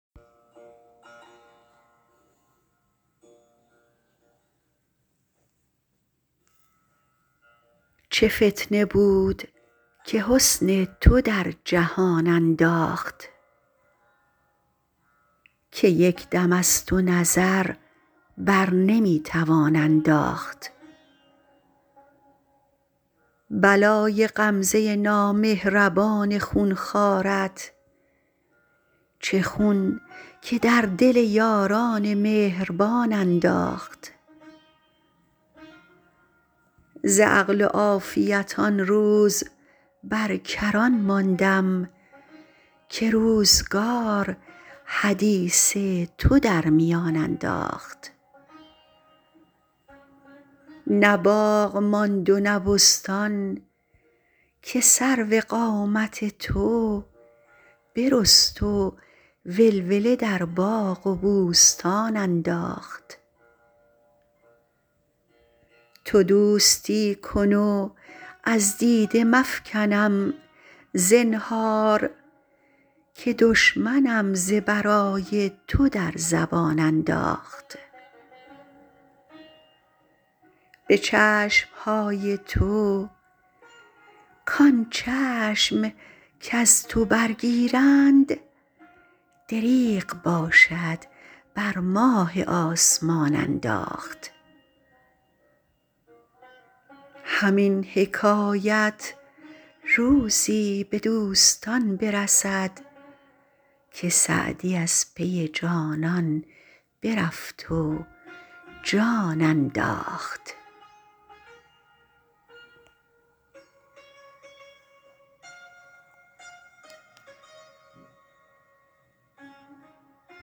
چه فتنه بود که حسن تو در جهان انداخت که یک دم از تو نظر بر نمی توان انداخت بلای غمزه نامهربان خون خوارت چه خون که در دل یاران مهربان انداخت ز عقل و عافیت آن روز بر کران ماندم که روزگار حدیث تو در میان انداخت نه باغ ماند و نه بستان که سرو قامت تو برست و ولوله در باغ و بوستان انداخت تو دوستی کن و از دیده مفکنم زنهار که دشمنم ز برای تو در زبان انداخت به چشم های تو کان چشم کز تو برگیرند دریغ باشد بر ماه آسمان انداخت همین حکایت روزی به دوستان برسد که سعدی از پی جانان برفت و جان انداخت